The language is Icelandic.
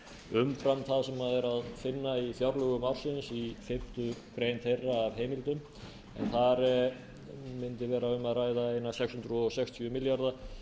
umfram það sem er að finna í fjárlögum ársins í fimmtu grein þeirra af heimildum en þar mundi vera um að ræða eina sex hundruð sextíu milljarða